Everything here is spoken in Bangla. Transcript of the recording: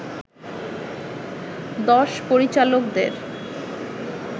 দশ পরিচালকদের